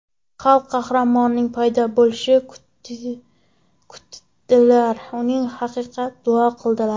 Xalq qahramonining paydo bo‘lishini kutdilar, uning haqqida duo qildilar.